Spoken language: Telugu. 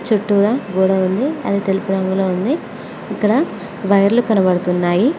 చుట్టూరా గోడ ఉంది అది తెలుపు రంగులో ఉంది ఇక్కడ వైర్లు కనపడుతున్నాయి.